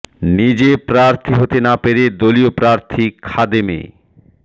নিজে প্রার্থী হতে না পেরে দলীয় প্রার্থী খাদেম এ